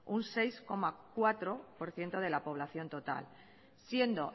un seis coma cuatro por ciento de la población total siendo